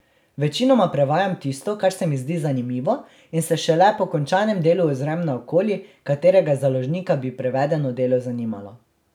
Večinoma prevajam tisto, kar se mi zdi zanimivo, in se šele po končanem delu ozrem naokoli, katerega založnika bi prevedeno delo zanimalo.